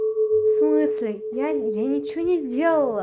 в смысле я я ничего не сделала